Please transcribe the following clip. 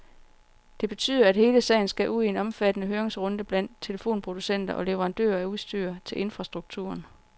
Det betyder, at hele sagen skal ud i en omfattende høringsrunde blandt telefonproducenter og leverandører af udstyr til infrastrukturen.